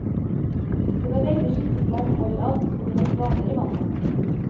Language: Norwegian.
Det var veldig skittent vann overalt, og det var svaner i vannet.